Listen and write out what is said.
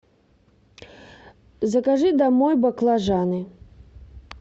закажи домой баклажаны